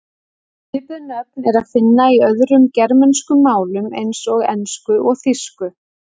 Svipuð nöfn er að finna í öðrum germönskum málum eins og ensku og þýsku.